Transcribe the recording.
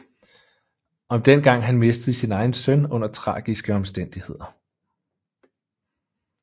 Om dengang han mistede sin egen søn under tragiske omstændigheder